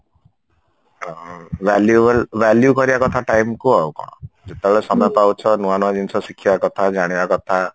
ଅ valuable value କରିବା କଥା time କୁ ଆଉ କଣ ଯେତେବେଳେ ସମୟ ପାଉଛ ନୂଆ ନୂଆ ଜିନିଷ ଶିଖିବା କଥା ଜାଣିବା କଥା